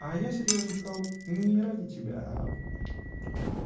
а я серьёзным стал не ради тебя а